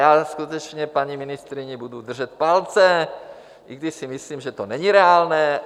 Já skutečně paní ministryni budu držet palce, i když si myslím, že to není reálné.